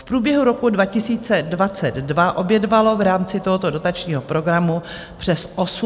V průběhu roku 2022 obědvalo v rámci tohoto dotačního programu přes 18 000 dětí.